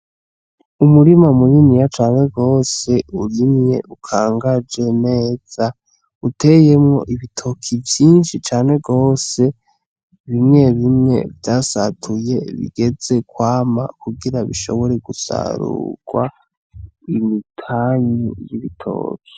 Umurima muniniya cane gose, urimye ukangaje neza uteyemwo ibitoki vyinshi cane gose bimwe bimwe vyasatuye bigeze kwama kugira ngo bishobore gusarugwa imipanyu y'ibitoki.